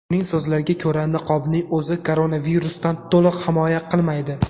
Uning so‘zlariga ko‘ra, niqobning o‘zi koronavirusdan to‘liq himoya qilmaydi.